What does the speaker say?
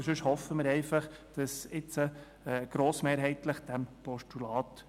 Sonst hoffen wir einfach, dass diesem Postulat grossmehrheitlich gefolgt wird.